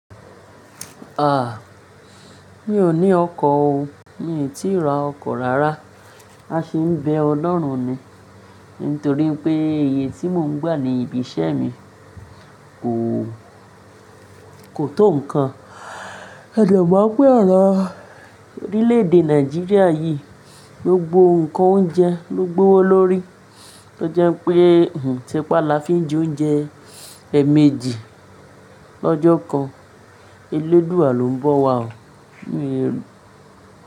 Ah! Mi ò ní ọkọ̀ o, mi ò tí ì ra ọkọ̀ rárá. A sì ń bẹ Ọlọ́run ni nítorí pé iye tí mò ń gbà ní ibi iṣẹ́ mi kò, kò tó ǹkan. A de mon pẹ́ orọ̀ orílẹ̀ èdè Nàìjíríà yìí, gbogbo ǹkan oúnjẹ ló gbówó lórí. Ó jẹ́ pé huń tí pa la fi ń jẹ oúnjẹ èèmejì lọ́jọ́ kan. Elédua lọ́ ń bọ̀ wá o. Mi ò rí i rí.